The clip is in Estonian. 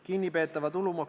Kalvi Kõva, palun!